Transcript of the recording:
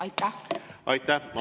Aitäh!